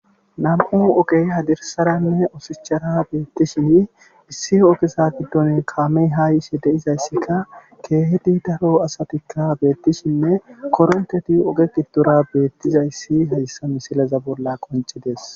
nam7u ogey hadirsaranne osishchara beettishin issi ogesa giddon kaamey haa yishe deizayssikka keehidi daro asatikka beettishinne koronteti oge gidora beettizayssi hayssa misileza bolla qoncidees